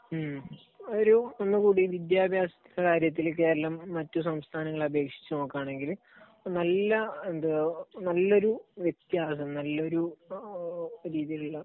ഉം ഒരു ഒന്നുകൂടി വിദ്യാഭ്യാസകാര്യത്തിൽ കേരളം മറ്റു സംസ്ഥാനങ്ങളെ അപേക്ഷിച്ചു നോക്കുകയാണെങ്കിൽ നല്ല എഹ് നല്ലൊരു വ്യത്യാസം, നല്ലൊരു രീതിയിലുള്ള